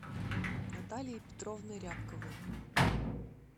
наталией петровной рябковой